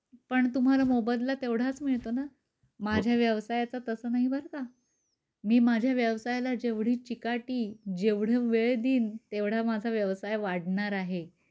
पण तुम्हाला मोबदला तेवढाच मिळतो ना. माझ्या व्यवसायाचा तस नाही बर का. मी माझ्या व्यवसायाला जेवढी चिकाटी जेवढा वेळ देईन तेवढा माझा व्यवसाय वाढणार आहे.